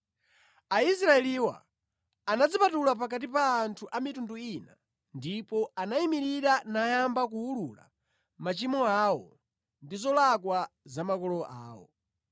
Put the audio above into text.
Aisraeliwa anadzipatula pakati pa anthu a mitundu ina ndipo anayimirira nayamba kuwulula machimo awo ndi zolakwa za makolo awo.